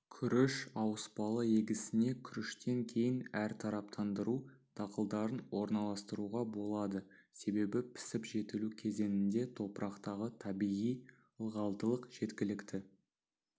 күріш ауыспалы егісіне күріштен кейін әртараптандыру дақылдарын орналастыруға болады себебі пісіп-жетілу кезеңінде топырақтағы табиғи ылғалдылық жеткілікті